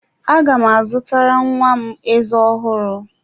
Aga m azụtara nwa m ezé ọhụrụ.